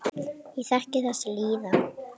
Ég þekki þessa líðan.